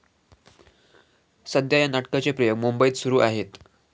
सध्या या नाटकाचे प्रयोग मुंबईत सुरू आहेत.